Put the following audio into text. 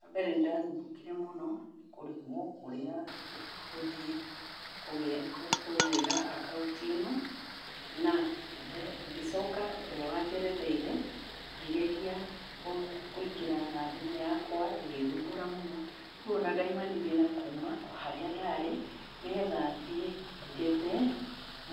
Wa mbere nĩ ndathumbũkire mũno nĩ kũrigwo kũrĩa gũthiĩ kũgĩra akaũnti ĩno na ngĩcoka ũrĩa wanjeretheire ngĩgeria kũingĩra na thimũ yakwa ĩgĩthumbũra mũno, rĩu ona ndaumanirie na kuma harĩa ndarĩ nĩgetha thiĩ njethe